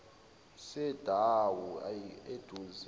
sedamu ayi aduze